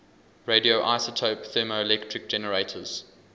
radioisotope thermoelectric generators